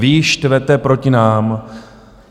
Vy ji štvete proti nám.